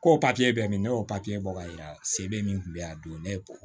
Ko papiye bɛ min ne y'o papiye bɔ ka yira se bɛ min kun bɛ yan don ne